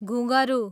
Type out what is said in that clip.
घुँघरू